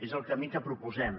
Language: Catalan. és el camí que proposem